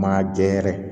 Maa jɛ yɛrɛ